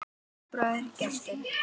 Þinn bróðir, Gestur.